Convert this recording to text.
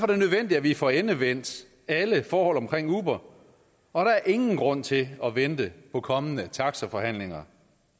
det nødvendigt at vi får endevendt alle forhold omkring uber og der er ingen grund til at vente på kommende taxaforhandlinger